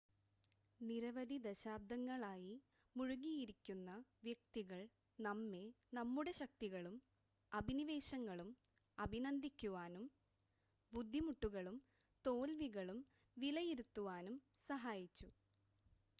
നിരവധി ദശാബ്ദങ്ങളായി മുഴുകിയിരിക്കുന്ന വ്യക്തികൾ നമ്മെ നമ്മുടെ ശക്തികളും അഭിനിവേശങ്ങളും അഭിനന്ദിക്കുവാനും ബുദ്ധിമുട്ടുകളും തോൽവികളും വിലയിരുത്തുവാനും സഹായിച്ചു